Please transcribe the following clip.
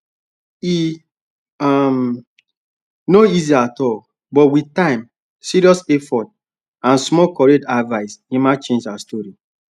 e um no easy at all but with time serious effort and small correct advice emma change her story